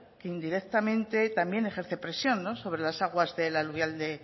que indirectamente también ejerce presión sobre las aguas del aluvial de